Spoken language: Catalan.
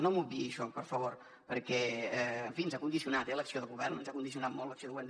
no m’obviï això per favor perquè en fi ens ha condicionat eh l’acció de govern ens ha condicionat molt l’acció de govern